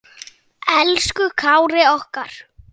Elsku Kári okkar.